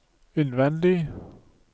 innvendig